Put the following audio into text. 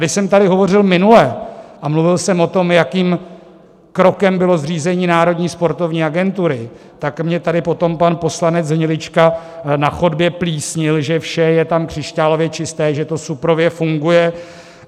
Když jsem tady hovořil minule, a mluvil jsem o tom, jakým krokem bylo zřízení Národní sportovní agentury, tak mě tady potom pan poslanec Hnilička na chodbě plísnil, že vše je tam křišťálově čisté, že to suprově funguje.